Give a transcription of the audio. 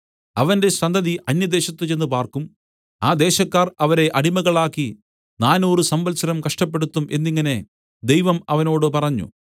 അവന്റെ സന്തതി അന്യദേശത്ത് ചെന്ന് പാർക്കും ആ ദേശക്കാർ അവരെ അടിമകളാക്കി നാനൂറ് സംവത്സരം കഷ്ടപ്പെടുത്തും എന്നിങ്ങനെ ദൈവം അവനോട് പറഞ്ഞു